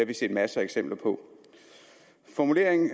vi set masser af eksempler på formuleringen